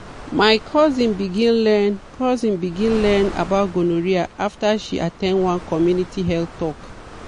my cousin begin learn cousin begin learn about gonorrhea after she at ten d one community health talk.